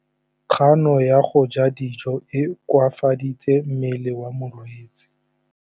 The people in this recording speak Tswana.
Kganô ya go ja dijo e koafaditse mmele wa molwetse.